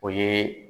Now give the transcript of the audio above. O ye